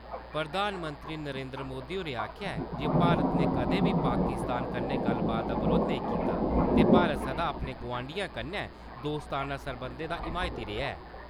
प्रधानमंत्री नरेन्द्र मोदी होरें आखेआ ऐ जे भारत ने कदें बी पाकिस्तान कन्नै गल्लबात दा बरोध नेईं कीता ते भारत सदा अपने गोआंडियें कन्नै दोस्ताना सरबंधें दा हिमायती रेहा ऐ।